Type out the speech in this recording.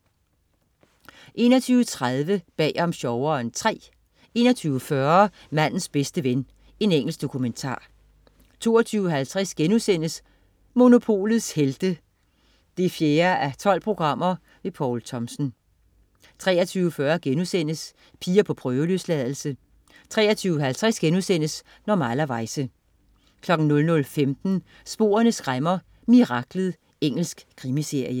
21.30 Bag om sjoveren III 21.40 Mandens bedste ven. Engelsk dokumentar 22.50 Monopolets Helte 4:12.* Poul Thomsen 23.40 Piger på prøveløsladelse* 23.50 Normalerweize* 00.15 Sporene skræmmer: Miraklet. Engelsk krimiserie